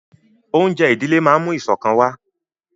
Oúnjẹ ìdílé máa ń mú ìṣọ̀kan wà